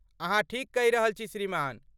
अहाँ ठीक कहि रहल छी श्रीमान।